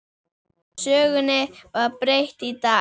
Sögunni var breytt í dag.